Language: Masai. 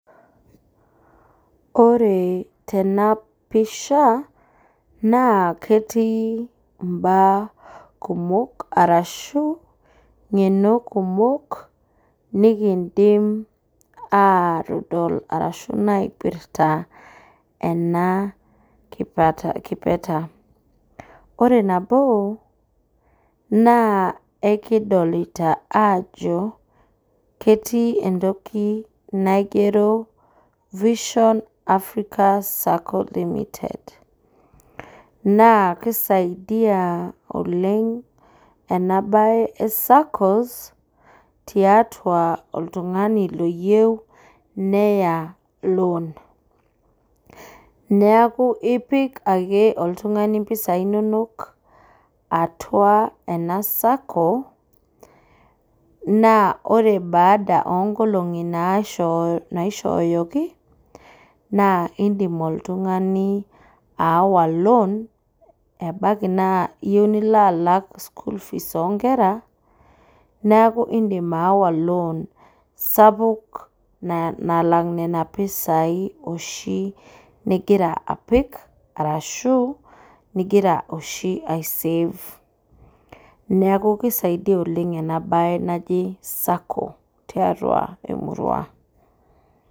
Ore tenapisha, naa ketii imbaa kumok arashu, ng'eno kumok nikiidim atodol arashu naipirta ena kipeta. Ore nabo, naa ekidolita ajo, ketii entoki naigero vision Africa Sacco limited. Naa kisaidia oleng enabae e SACCOs, tiatua oltung'ani loyieu neya loan. Neeku ipik ake oltung'ani mpisai nonok atua ena Sacco, naa ore baada onkolong'i naishooyoki, naa idim oltung'ani aawa loan, ebaiki naa iyieu nilo alak school fees onkera, neeku idim aawa loan sapuk nalak nena pisai oshi nigira apik, arashu nigira oshi ai save. Neeku kisaidia oleng enabae naji Sacco tiatua emurua.